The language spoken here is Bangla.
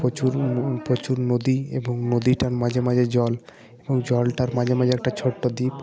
প্রচুর ন ন প্রচুর নদী এবং নদীটার মাঝে মাঝে জল এবং জলটার মাঝে মাঝে একটা ছোট দ্বীপ।